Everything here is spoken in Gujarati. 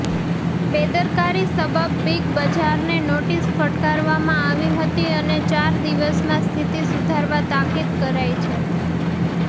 બેદરકારી સબબ બીગબજારને નોટિસ ફટકારવામાં આવી હતી અને ચાર દિવસમાં સ્થિતિ સુધારવા તાકીદ કરાઈ છે